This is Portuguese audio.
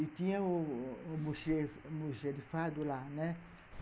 E tinha o o almoxarifado lá, né